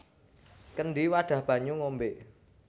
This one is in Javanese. Kendhi wadhah banyu ngombé